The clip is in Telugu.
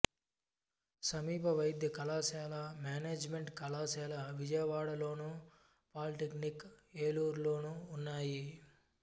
సమీప వైద్య కళాశాల మేనేజిమెంటు కళాశాల విజయవాడలోను పాలీటెక్నిక్ ఏలూరులోనూ ఉన్నాయి